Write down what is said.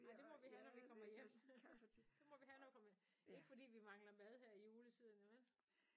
Ej det må vi have når vi kommer hjem. Det må vi have når vi kommer ikke fordi vi mangler mad her i juletiden vel?